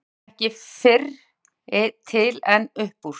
Þá veit ég ekki fyrri til en upp úr